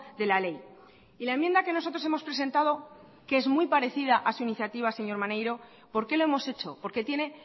de la ley y la enmienda que nosotros hemos presentado que es muy parecida a su iniciativa señor maneiro por qué lo hemos hecho porque tiene